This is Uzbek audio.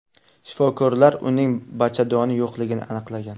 Shifokorlar uning bachadoni yo‘qligini aniqlagan.